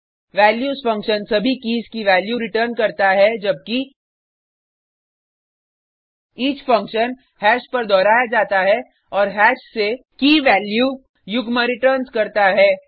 values function सभी keys की values return करता है जबकि ईच फंक्शन हैश पर दोहराया जाता है और हैश से कीवैल्यूkeyवैल्यू युग्म रिटर्न्स करता है